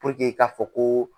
k'a fɔ ko.